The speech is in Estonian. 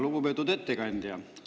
Lugupeetud ettekandja!